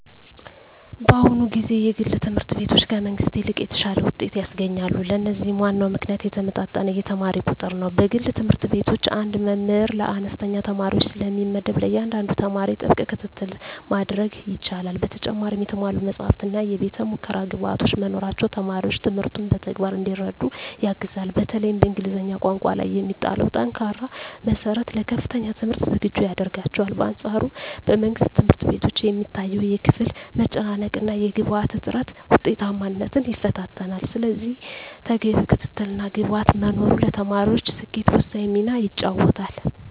በአሁኑ ጊዜ የግል ትምህርት ቤቶች ከመንግሥት ይልቅ የተሻለ ውጤት ያስገኛሉ። ለዚህም ዋናው ምክንያት የተመጣጠነ የተማሪ ቁጥር ነው። በግል ትምህርት ቤቶች አንድ መምህር ለአነስተኛ ተማሪዎች ስለሚመደብ፣ ለእያንዳንዱ ተማሪ ጥብቅ ክትትል ማድረግ ይቻላል። በተጨማሪም የተሟሉ መጻሕፍትና የቤተ-ሙከራ ግብዓቶች መኖራቸው ተማሪዎች ትምህርቱን በተግባር እንዲረዱ ያግዛል። በተለይም በእንግሊዝኛ ቋንቋ ላይ የሚጣለው ጠንካራ መሠረት ለከፍተኛ ትምህርት ዝግጁ ያደርጋቸዋል። በአንፃሩ በመንግሥት ትምህርት ቤቶች የሚታየው የክፍል መጨናነቅና የግብዓት እጥረት ውጤታማነትን ይፈታተናል። ስለዚህ ተገቢው ክትትልና ግብዓት መኖሩ ለተማሪዎች ስኬት ወሳኝ ሚና ይጫወታል።